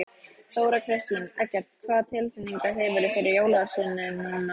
Þóra Kristín: Eggert, hvaða tilfinningu hefurðu fyrir jólaösinni núna?